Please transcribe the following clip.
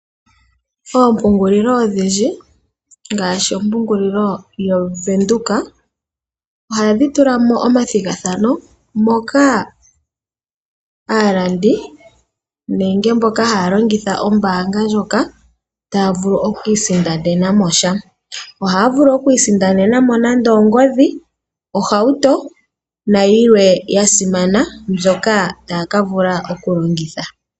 Oompungulilo odhindji ngaashi ompungulilo yaVenduka ohadhi tula mo omathigathano moka mboka haya longitha ombanga ndjoka taya vulu okuisindanena mo sha. Ohaya vulu okuisindanena mo nando ongodhi, ohauto nayilwe ya simana mbyoka taya ka vula okulongitha.